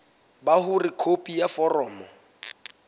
ba hore khopi ya foromo